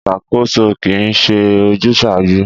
Ìṣàkóso kì í ṣe ojúsàájú.